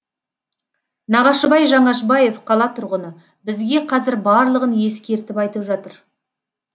нағашыбай жаңашбаев қала тұрғыны бізге қазір барлығын ескертіп айтып жатыр